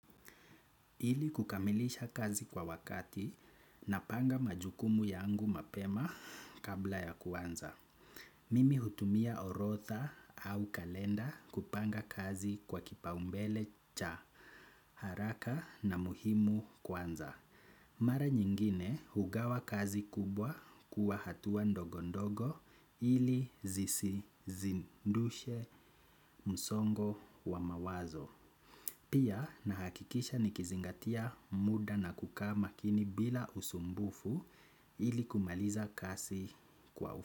Ili kukamilisha kazi kwa wakati napanga majukumu yangu mapema kabla ya kwanza. Mimi hutumia orodha au kalenda kupanga kazi kwa kipaumbele cha haraka na muhimu kwanza. Mara nyingine hugawa kubwa kuwa hatua ndogo ndogo ili zisizidishe msongo wa mawazo. Pia nahakikisha nikizingatia muda na kukaaa makini bila usumbufu ili kumaliza kasi kwa.